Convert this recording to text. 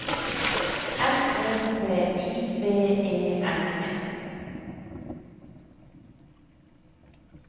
M O T I V E N E